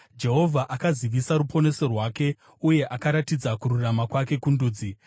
Jehovha akazivisa ruponeso rwake uye akaratidza kururama kwake kundudzi,